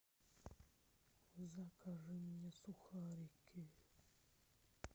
закажи мне сухарики